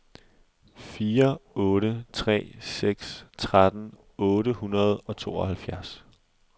fire otte tre seks tretten otte hundrede og tooghalvtreds